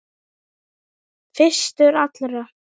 Fyrstur allra.